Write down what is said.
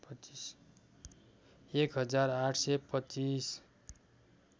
एक हजार ८२५